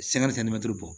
bɔ